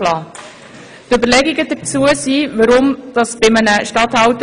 Das war bisher unklar geregelt und hat immer wieder zu Diskussionen geführt.